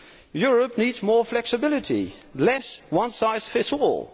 Europe needs more flexibility, less one size fits all.